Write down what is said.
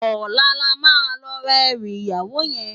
Òlá lá ma lò rá èrù iyáwó yèn